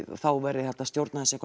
þá verði hægt að stjórna þessu